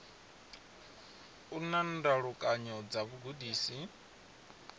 u na ndalukanyo dza vhugudisi